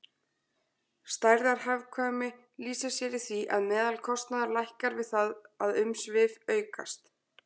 Stærðarhagkvæmni lýsir sér í því að meðalkostnaður lækkar við það að umsvif aukast.